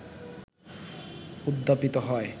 উদ্যাপিত হয়